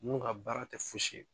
Ninnu ka baara tɛ fosi ye